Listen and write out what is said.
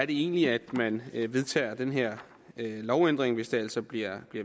egentlig at man vedtager den her lovændring hvis det altså bliver